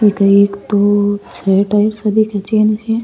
ये तो एक तोप सो टाइप सो दिखे छे मुझे।